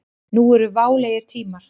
Nú eru válegir tímar.